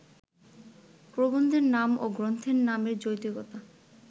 প্রবন্ধের নাম ও গ্রন্থের নামের যৌক্তিকতায়